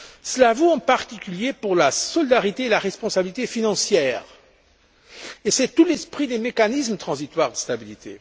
Cela vaut, en particulier, pour la solidarité et la responsabilité financières et c'est tout l'esprit des mécanismes transitoires de stabilité.